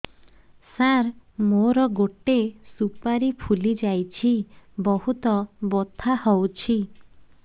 ସାର ମୋର ଗୋଟେ ସୁପାରୀ ଫୁଲିଯାଇଛି ବହୁତ ବଥା ହଉଛି